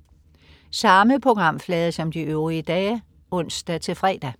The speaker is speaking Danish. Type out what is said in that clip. Samme programflade som de øvrige dage (ons-fre)